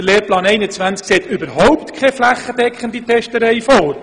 Der Lehrplan 21 sieht überhaupt keine flächendeckende Testerei vor.